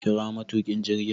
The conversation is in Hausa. kira matukin jirgin